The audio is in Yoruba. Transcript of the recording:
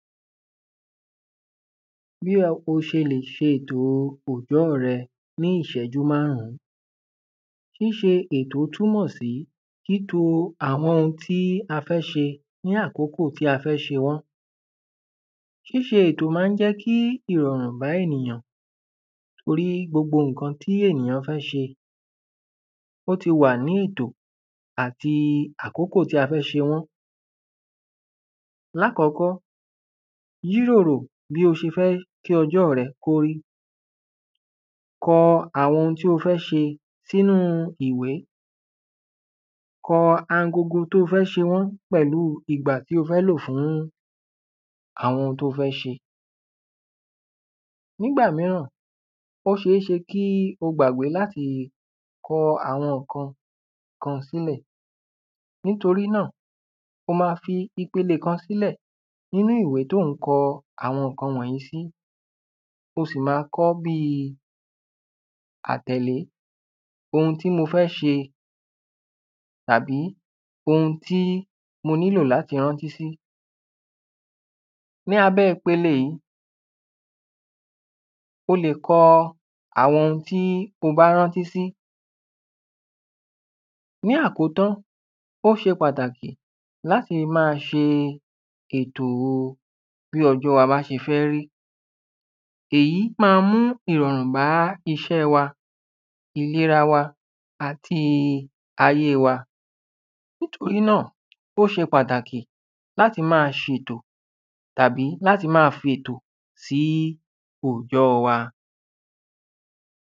bí o s̩e lè s̩e ètò ojò̩ó̩ re̩ ní ìs̩é̩jú márùn-ún s̩ís̩e ètò túnmò̩ sí s̩ís̩e àwo̩n ohun tí a fé̩ s̩e ní ákókó tí a fé̩ s̩e wó̩n. s̩ís̩e ètò máa ń jé̩ kí ìrò̩rùn bá ènìyàn tori, gbogbo ǹkan tí ènìyàn fé̩ s̩e, ó ti wà ní ìtò àti àkókò tí a fé̩ s̩e wó̩n lákó̩kó̩, yíròrò bí o s̩e fé̩ kí o̩jó̩ re̩ kó rí ko̩ àwo̩n ohun tí o fé̩ s̩e sínú ìwé, ko̩ angogo tí o fé̩ s̩e wó̩n pè̩lú ìgbà tí o fé̩ lò fún àwo̩n ohun tí o fé̩ s̩e nígbà míràn ó s̩eés̩e kí o gbàgbé láti ko̩ àwo̩n kan kan sílè̩ nítorí náà, ó máa fi ipele kan sílè̩ nínú ìwé tí o ń ko̩ àwo̩n ǹkan wò̩nyí sí. o sì máa ko̩ ó̩ bíi àtè̩lé ohun tí mo fé̩ s̩e tàbí ohun tí mo nílò láti rántí sí. ní abé̩ ipele yìí, o lè ko̩ àwo̩n ohun tí o bá rántí sí. ní àkótán, ó s̩e pàtàkì láti máa s̩e ètòo bí o̩jó̩ wa bá s̩e fé̩ rí. èyí máa mú ìrò̩rùn bá is̩é̩ wa, ìlera wa àti ayé wa. nítorí náà láti máa s̩e ètò àbí láti máa fi ètò sí ojò̩ó̩ wa.